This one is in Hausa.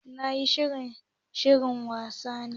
NTA na yin shirye-shiryen wasanni.